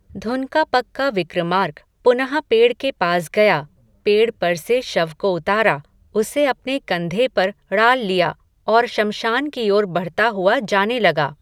धुन का पक्का विक्रमार्क, पुनः पेड़ के पास गया, पेड़ पर से शव को उतारा, उसे अपने कंधे पर ड़ाल लिया, और शमशान की ओर बढ़ता हुआ जाने लगा